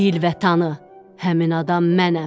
Bil və tanı, həmin adam mənəm.